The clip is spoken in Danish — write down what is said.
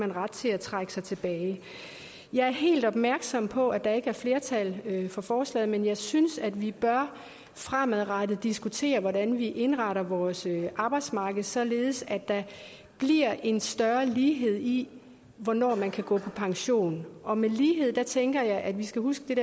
ret til at trække sig tilbage jeg er helt opmærksom på at der ikke er flertal for forslaget men jeg synes at vi fremadrettet bør diskutere hvordan vi indretter vores arbejdsmarked således at der bliver en større lighed i hvornår man kan gå på pension og med lighed tænker jeg at vi skal huske